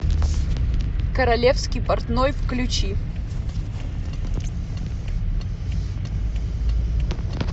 королевский портной включи